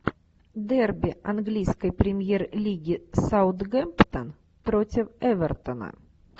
дерби английской премьер лиги саутгемптон против эвертона